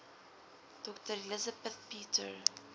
dr elizabeth peter